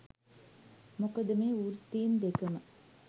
මොකද මේ වෘත්තීන් දෙකම